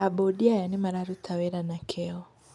Aabundi aya nĩ mararuta wĩra na kĩyo.